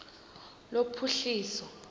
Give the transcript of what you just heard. lophuhliso